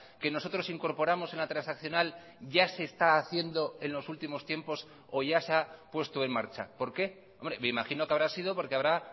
que nosotros incorporamos en la transaccional ya se está haciendo en los últimos tiempos o ya se ha puesto en marcha por qué me imagino que habrá sido porque habrá